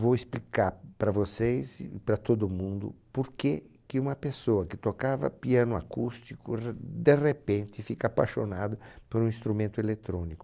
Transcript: Vou explicar para vocês e para todo mundo porquê que uma pessoa que tocava piano acústico r de repente fica apaixonado por um instrumento eletrônico.